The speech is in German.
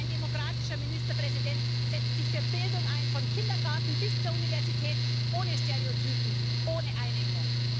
Ein demokratischer Ministerpräsident setzt sich für Bildung ein, vom Kindergarten bis zur Universität, ohne Stereotype, ohne Einengung.